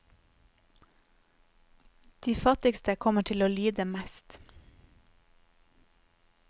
De fattigste kommer til å lide mest.